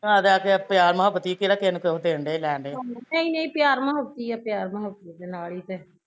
ਲੈ ਦੇ ਕੇ ਪਿਆਰ ਮੋਹਬਤ ਹੀਂ ਐ ਕਿਹੜਾ ਕਿਸੇ ਨੂੰ ਕੁਜ ਦੇਣ ਡਏ ਲੈਣ ਡਏ